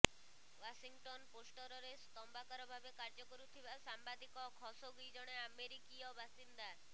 Washington ପୋଷ୍ଟରେ ସ୍ତମ୍ଭକାର ଭାବେ କାର୍ଯ୍ୟ କରୁଥିବା ସାମ୍ବାଦିକ ଖସୋଗି ଜଣେ ଆମେରିକୀୟ ବାସିନ୍ଦା